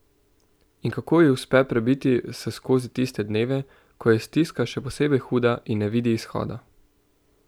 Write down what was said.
In kako ji uspe prebiti se skozi tiste dneve, ko je stiska še posebej huda in ne vidi izhoda?